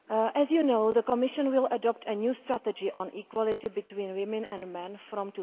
As you know, the Commission will adopt a new strategy on equality between women and men from